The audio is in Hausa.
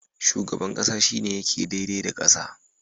Shugaban ƙasa shine yake dai dai ta ƙasa